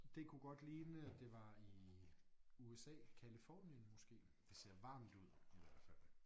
Det kunne godt ligne det var i USA Californien måske det ser varmt ud i hvert fald